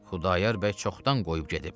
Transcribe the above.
Xudayar bəy çoxdan qoyub gedib.